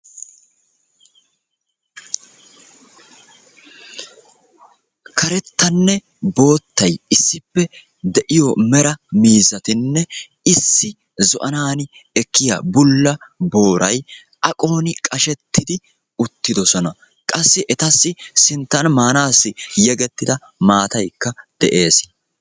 Karettanne boottay, issippe de'iyo mera miizzatinne issi zo'aanaani ekkiya bulla booray aqooni qashetidi uttidosona. Qassi etassi sinttan maanaassi yegetidauttida maataaykka de'ees.